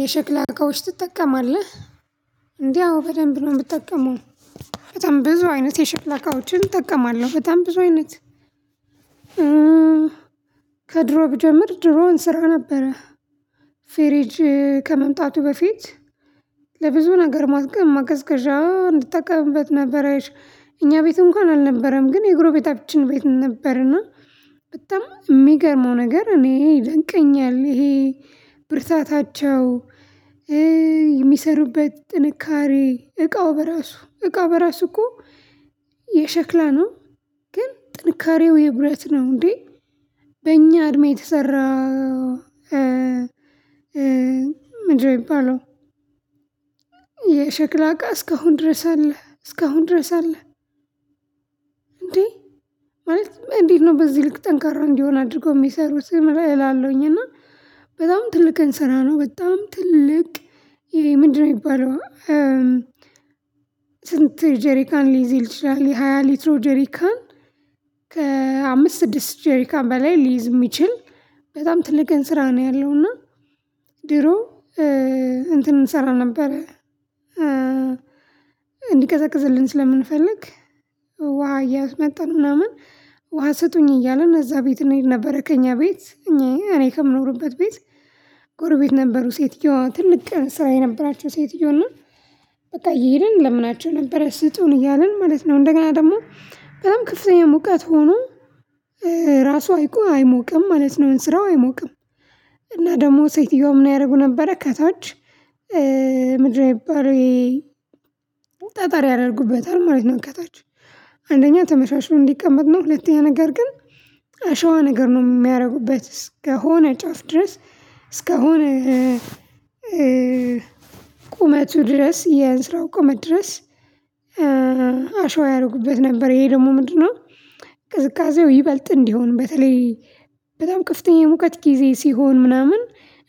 የሽክላ እቃዎች ትጠቀማለህ? እንዴ አዎ በደንብ ነዋ ምጠቀመው። በጣም ብዙ አይነት የሽላካ እቃዎችን እጠቀማለሁ በጣም ብዙ አይነት፣ ከድሮ ብጀምር ድሮ እንስራ ነበረ ፌሬጅ ከመምጣቱ በፊት ለብዙ ነገር ማስቀ ማቀዝቀዣ እንጠቀምበት ነበረሽ እኛ ቤት እንኳን አልነበረም ግን የግሮ ቤታችን ቤት ነበርና በጣም የሚገርመው ነገር እኔ ይደንቀኛል ይሄ ብርታታቸው የሚሰሩበት ጥንካሬ እቃው በራሱ እቃው በራሱ እኮ የሸክላ ነው ግን ጥንካሬው የብረት ነው። እንዴ በእኛ እድሜ የተሰራ ምንድነው የሚባለው የሸክላ እቃ እስካሁን ድረስ አለ እስካሁን ድረስ አለ እንዴ ማለት እንዴት ነው በዚህ ልክ ጠንካራ እንዲሆን አድርጎ የሚሰሩት ስም ላይ እላለሁኝ እና በጣም ትልቅን ስራ ነው በጣም ትልቅ ዪሄ ምንድነው የሚባለው ስንት ጄሪካን ሊይዝል ይችላል ይሄ ሃያ ሊትሮ ጀሪካን ከአምስት ስድስት ጀሪካን በላይ ሊይዝ የሚችል በጣም ትልቅ እንስራ ነው ያለው እና ድሮ እንትን እንሰራ ነበረ እንዲቀዘቅዝልን ስለምንፈልግ ውሃ እያስመጣን ምናምን ውሃ ስጡኝ እያለል እዛ ቤት እንሄድ ነበረ ከእኛ ቤት እኛ እኔ ከምኖርበት ቤት ጎረቤት ነበሩ ሴትየዋ ትልቅ ቀን ስራ የነበራቸው ሴትየዋ እና በቃ እየሄድን እንለምናቸው ነበረ። ስጡን እያልን ማለት ነው እንደገና ደግሞ ከዛን ከፍተኛ ሙቀት ሆኖ ራሱ አይቆይ አይሞቅም ማለት ነው እንስራው አይሞቅም እና ደግሞ ሴትየዋም ምን ያደርጉ ነበር ከታች ምንድነው የሚባላው ይሄ ጣጣሪ ያደረጉበታል ማለት ነው ከታች አንደኛ ተመሻሽሎ እንዲቀመጥ ነው ሁለተኛ ነገር ግን አሸዋ ነገር ነው የሚያደርጉበት እስከሆነ ጫፍ ድረስ እስከሆነ ቁመቱ ድረስ የእንስራው ቁመት ድረስ አሸዋ ያደረጉበት ነበር ይሄ ደግሞ ምንድነው ቅዝቃዜው ይበልጥ እንዲሆን በተለይ በጣም ከፍተኛ የሙቀት ጊዜ ሲሆን ምናምን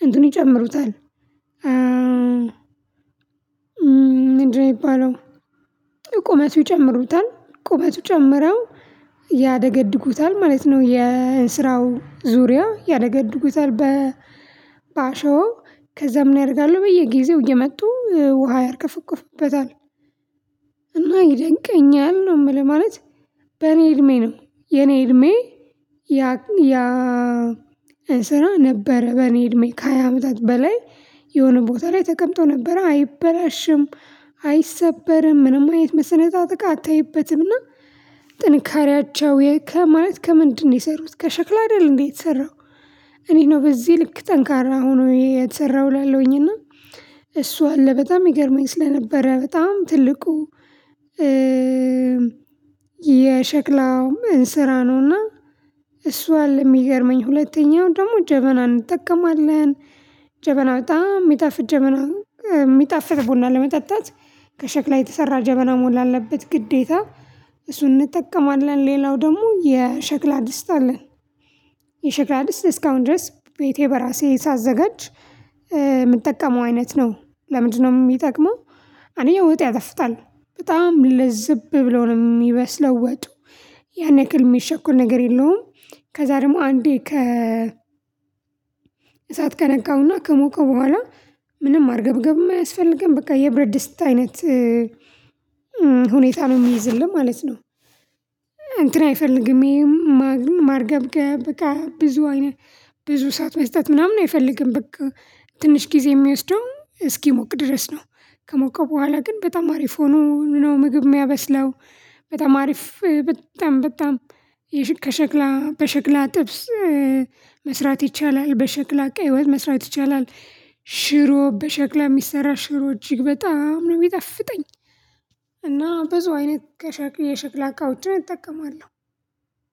እንትኑን ይጨምሩታል ምንድነው የሚባለው ቁመቱ ጨምሮታል ቁመቱ ጨምረው ያደገድጉታል ማለት ነው የእንስራው ዙሪያ ያደገድጉታል በ አሸዋው ከዛ ምን ያደርጋሉ በየጊዜው እየመጡ ውሃ ያርከፍክፍበታል እና ይደንቀኛል ነው ምልህ ማለት በኔ እድሜ ነው የኔ እድሜ ያ ያ ነበር በእኔ እድሜ ከሃያ አመታት በላይ የሆነ ቦታ ላይ ተቀምጦ ነበር አይበላሽም አይሰበርም ምንም አይነት መሰነጣጠቅ አታይበትም እና ጥንካሬያቸው ከማለት ከምንድነው የሰሩት ከሸክላ አይደል እንዴ የተሰራው እንዴት ነው በዚህ ልክ ጠንካራ የተሰራው እላለውኝ እና እሱ አለ በጣም ይገርመኝ ስለነበረ በጣም ትልቁ የሸክላው ምን ስራ ነውና እሷን የሚገርመኝ ሁለተኛው ደግሞ ጀበና እንጠቀማለን ጀበና በጣም የሚጣፍጥ ጀበና የሚጣፍጥ ቦና ለመጠጣት ከሸክላ የተሰራ ጀበራ መሆን አልበት ግዴታ እሱን እንጠቀማለን ሌላው ደግሞ የሸክላ ድስት አለን የሸክላ ድስት እስካሁን ድረስ ቤቴ በራሴ ሳዘጋጅ የምትጠቀመው አይነት ነው ለምንድነው የሚጠቅመው አንደኛው ወጥ ያጠፍታል በጣም ልዝብ ብሎ ነው የሚበስለው ወጡ ያነቅል የሚሸኩል ነገር የለውም ከዛ ደግሞ አንዴ ከ እሳት ከነካሁና ከሞቀው በኋላ ምንም አርገብገብም አያስፈልገንም በቃ የብረትድስት አይነት ሁኔታ ነው የሚይዝልህ ማለት ነው እንትን አይፈልግም ማርገብገብ በቃ ብዙ ብዙ ሰዓት መስጠት ምናምን አይፈልግም በቃ ትንሽ ጊዜ የሚወስደው እስኪሞቅ ድረስ ነው ከሞቀው በኋላ ግን በጣም አሪፍ ሆኖ ነው ምግብ የሚያበስለው በጣም አሪፍ በጣም በጣም ከሸክላ በሸክላ ጥብስ መስራት ይቻላል በሸክላ ቀይ ወጥ መስራት ይቻላል። ሽሮ በሸክላ የሚሰራ ሽሮ እጅግ በጣም ነው የሚጠፍጠኝ። እና ብዙ አይነት ከሻክ የሽክላ እቃዎችን እጠቀማለሁ